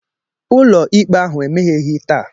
ụlọ ikpe ahụ emegheghị taa